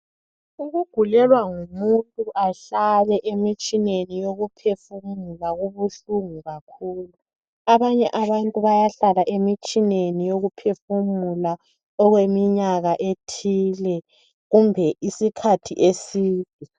Ukugulelwa ngumuntu ahlale emitshineni yokuphefumula kubuhlungu kakhulu. Abanye abantu bayahlala emitshineni yokuphefumula okweminyaka ethile kumbe isikhathi eside.